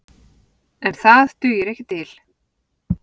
En það dugir ekki til.